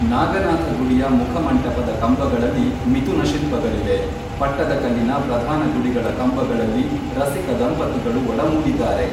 ನಾಗನಾಥ ಗುಡಿಯ ಮುಖಮಂಟಪದ ಕಂಬಗಳಲ್ಲಿ ಮಿಥುನ ಶಿಲ್ಪಗಳಿವೆ. ಪಟ್ಟದಕಲ್ಲಿನ ಪ್ರಧಾನ ಗುಡಿಗಳ ಕಂಬಗಳಲ್ಲಿ ರಸಿಕ ದಂಪತಿಗಳು ಒಡಮೂಡಿದ್ದಾರೆ.